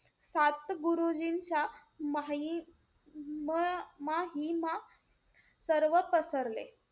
सात गुरुजींच्या माही~ म~ महिमा सर्व पसरले.